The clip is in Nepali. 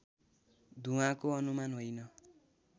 धुवाँको अनुमान होइन